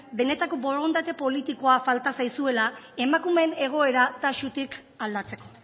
benetako borondate politikoa falta zaizuela emakumeen egoera taxutik aldatzeko